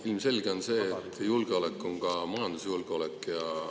Ilmselge on see, et julgeolek on ka majandusjulgeolek.